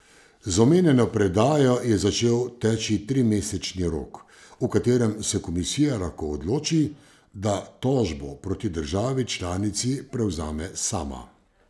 Z omenjeno predajo je začel teči trimesečni rok, v katerem se komisija lahko odloči, da tožbo proti državi članici prevzame sama.